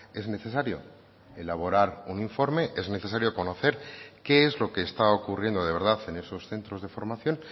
es necesario elaborar un informe es necesario conocer qué es lo que está ocurriendo de verdad en esos centros de formación